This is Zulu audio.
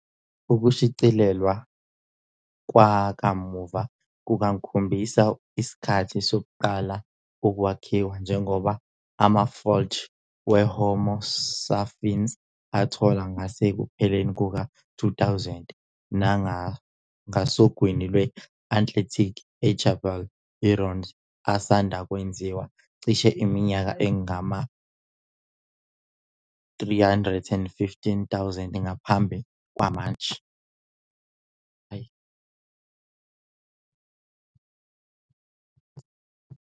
Ukushicilelwa kwakamuva kungakhombisa isikhathi sokuqala ukwakhiwa, njengoba amafulege weHomo sapiens athola ngasekupheleni kuka-2000 ngasogwini lwe-Atlantic eJebel Irhoud asanda kwenziwa cishe iminyaka engama-315,000 ngaphambi kwamanje.